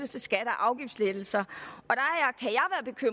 til skatte og afgiftslettelser